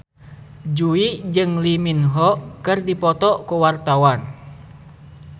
Jui jeung Lee Min Ho keur dipoto ku wartawan